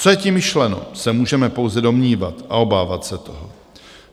Co je tím myšleno, se můžeme pouze domnívat a obávat se toho.